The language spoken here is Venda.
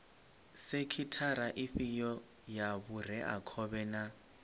sekhithara ifhio ya vhureakhovhe na